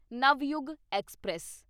Navyug express